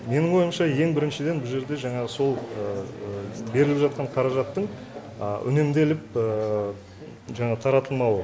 менің ойымша ең біріншіден бұл жерде жаңағы сол беріліп жатқан қаражаттың үнемделіп жаңағы таратылмауы